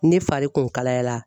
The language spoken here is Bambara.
Ne fari kun kalayala.